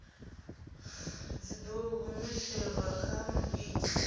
dzi ḓo humiselwa kha muiti